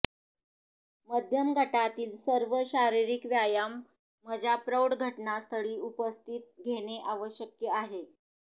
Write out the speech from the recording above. मध्यम गटातील सर्व शारीरिक व्यायाम मजा प्रौढ घटनास्थळी उपस्थित घेणे आवश्यक आहे